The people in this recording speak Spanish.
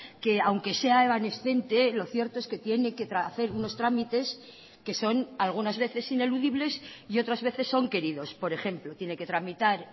que aunque sea evanescente lo cierto es que tiene que hacer unos trámites que son algunas veces ineludibles y otras veces son queridos por ejemplo tiene que tramitar